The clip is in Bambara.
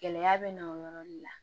Gɛlɛya bɛ na o yɔrɔ de la